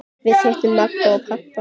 Við hittum Magga og pabba hans!